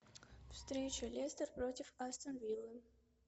встреча лестер против астон виллы